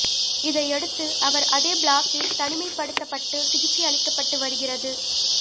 இதையடுத்து அவா் அதே பிளாக்கில் தனிமைப்படுத்தப்பட்டு சிகிச்சை அளிக்கப்பட்டு வருகிறது